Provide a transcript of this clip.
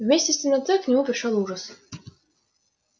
вместе с темнотой к нему пришёл ужас